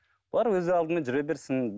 олар өз алдымен жүре берсін